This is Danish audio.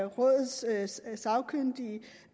rådets sagkyndige